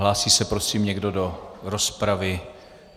Hlásí se prosím někdo do rozpravy?